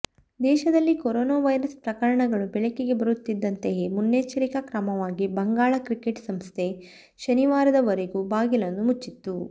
ದೇಶದಲ್ಲಿ corona virus ಪ್ರಕರಣಗಳು ಬೆಳಕಿಗೆ ಬರುತ್ತಿದ್ದಂತೆಯೇ ಮುನ್ನೆಚ್ಚರಿಕಾ ಕ್ರಮವಾಗಿ ಬಂಗಾಳ ಕ್ರಿಕೆಟ್ ಸಂಸ್ಥೆ ಶನಿವಾರದವರೆಗೂ ಬಾಗಿಲನ್ನು ಮುಚ್ಚಿತ್ತು